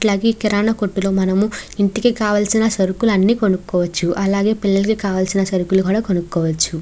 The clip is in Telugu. ఈ కిరణం కొట్టు లో మనం ఇంటికి కావలిసిన సరుకుల్లు అని కొనుకోవాచు. అలాగే పిల్లలలకి కావలిసిన సరుకుల్లు కూడా కొనుకోవాచు.